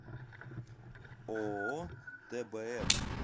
ооо тбм